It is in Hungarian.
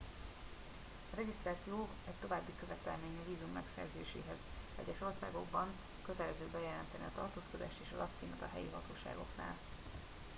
a regisztráció egy további követelmény a vízum megszerzéséhez egyes országokban kötelező bejelenteni a tartózkodást és a lakcímet a helyi hatóságoknál